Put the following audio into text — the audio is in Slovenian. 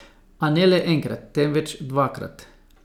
A ne le enkrat, temveč dvakrat.